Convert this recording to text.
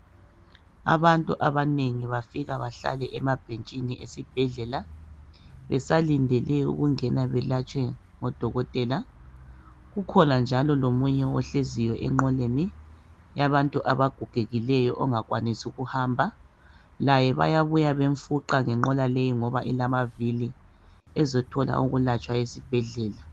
Abantu abanengi bafike behlale emabhentshini awesibhedlela besalindele ukungena belatshwe ngodokotela kukhona njalo lomunye ohleziyo enqoleni yabantu abagogekileyo ongakwanisi ukuhamba laye bayabuya bemfuqa ngenqola leyi ngoba ilamavili ezothola ukulatshwa esibhedlela